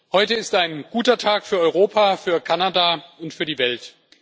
Heute ist ein guter Tag für Europa, für Kanada und für die Welt.